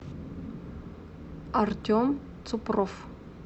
артем цупров